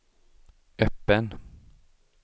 öppen